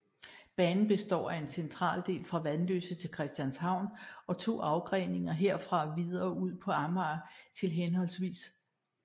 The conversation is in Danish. Banen består af en central del fra Vanløse til Christianshavn og 2 afgreninger herfra videre ud på Amager til hhv